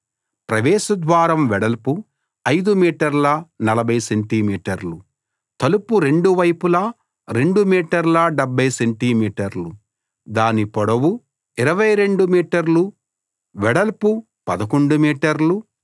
ప్రవేశ ద్వారం వెడల్పు 5 మీటర్ల 40 సెంటి మీటర్లు తలుపు రెండు వైపులా 2 మీటర్ల 70 సెంటి మీటర్లు దాని పొడవు 22 మీటర్లు వెడల్పు 11 మీటర్లు